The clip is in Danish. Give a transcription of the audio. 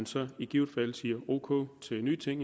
så i givet fald siger ok til nye ting